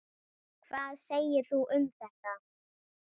Hvað segir þú um þetta?